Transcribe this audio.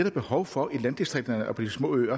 er behov for i landdistrikterne og på de små øer